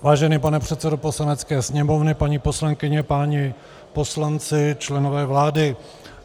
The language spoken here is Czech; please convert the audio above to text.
Vážený pane předsedo Poslanecké sněmovny, paní poslankyně, páni poslanci, členové vlády.